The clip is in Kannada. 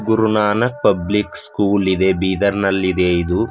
ಗುರು ನಾನಕ್ ಪಬ್ಲಿಕ್ ಸ್ಕೂಲ್ ಇದೆ ಬೀದರ್ ನಲ್ಲಿ ಇದೆ ಇದು.